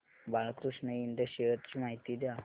Balkrishna Ind shares ची माहिती द्या